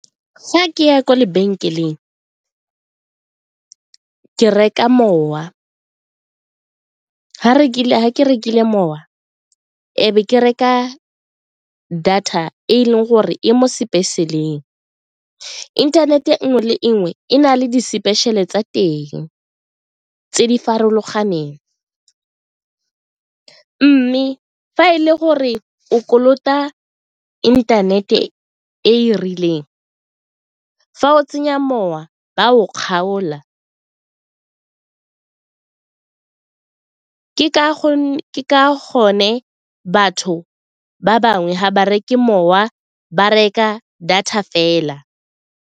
Fa ke ya kwa lebenkeleng ke reka mowa, ga ke rekile mowa e be ke reka data e leng gore e mo special-eng, internet e nngwe le enngwe e na le di-special-e tsa teng tse di farologaneng mme fa e le gore o kolota internet-e e e rileng. Fa o tsenya mowa ba o kgaola ka gonne batho ba bangwe ga ba reke mowa ba reka data fela.